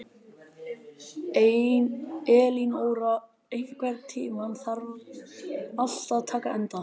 Elinóra, einhvern tímann þarf allt að taka enda.